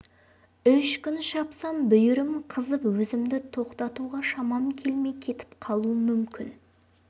үш күн шапсам бүйірім қызып өзімді тоқтатуға шамам келмей кетіп қалуым мүмкін